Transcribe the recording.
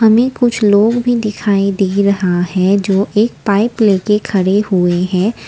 हमें कुछ लोग भी दिखाई दे रहा है जो एक पाइप लेके खड़े हुए हैं।